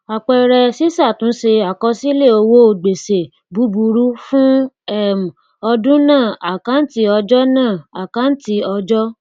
àpẹẹrẹ ṣíṣàtúnṣe àkọsílẹ owó gbèsè búburú fún um ọdún náà àkáǹtí ọjọ náà àkáǹtí ọjọ